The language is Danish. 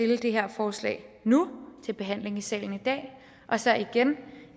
det her forslag nu til behandling i salen i dag og så igen